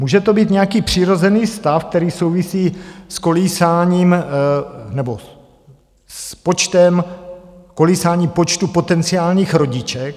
Může to být nějaký přirozený stav, který souvisí s kolísáním počtu potenciálních rodiček.